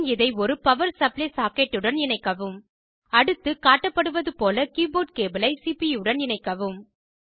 பின் இதை ஒரு power supply சாக்கெட்டுடன் இணைக்கவும் அடுத்து காட்டப்படுவதுபோல கீபோர்ட் கேபிளை சிபியூ உடன் இணைப்போம்